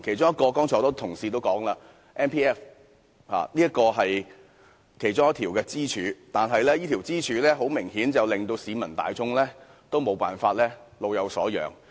多位同事也有提到其中一根支柱強積金，但這根支柱顯然令市民大眾沒法老有所養。